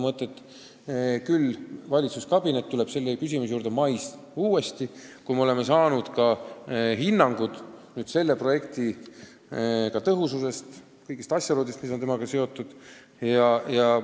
Aga valitsuskabinet tuleb selle küsimuse juurde uuesti mais, kui me oleme saanud hinnangud projekti tõhususe kohta ja kõigi asjaolude kohta, mis on sellega seotud.